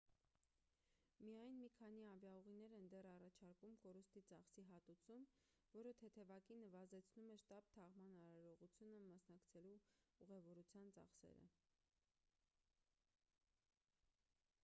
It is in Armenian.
միայն մի քանի ավիաուղիներ են դեռ առաջարկում կորուստի ծախսի հատուցում որը թեթևակի նվազեցնում է շտապ թաղման արարողությանը մասնակցելու ուղևորության ծախսերը